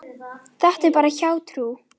Þetta er bara hjátrú.